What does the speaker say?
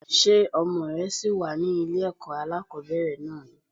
Ṣé ọmọ rẹ ṣì wà ní ilé ẹ̀kọ́ alákòbẹ̀rẹ̀ náà ni?